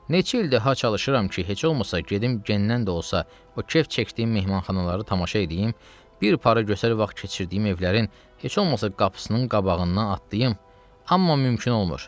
Neçə ildir ha çalışıram ki, heç olmasa gedim gendən də olsa o kef çəkdiyim mehmanxanaları tamaşa eləyim, bir para gözəl vaxt keçirdiyim evlərin heç olmasa qapısının qabağından atlayım, amma mümkün olmur.